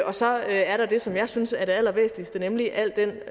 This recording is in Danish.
og så er er der det som jeg synes er det allervæsentligste nemlig al den